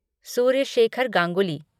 Surya Shekhar Ganguly